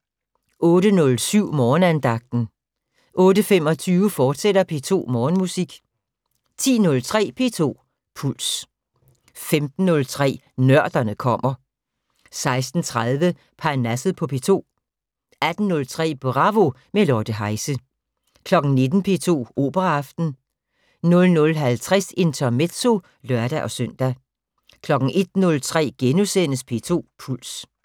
08:07: Morgenandagten 08:25: P2 Morgenmusik, fortsat 10:03: P2 Puls 15:03: Nørderne kommer 16:30: Parnasset på P2 18:03: Bravo - med Lotte Heise 19:00: P2 Operaaften 00:50: Intermezzo (lør-søn) 01:03: P2 Puls *